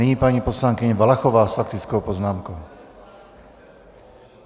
Nyní paní poslankyně Valachová s faktickou poznámkou.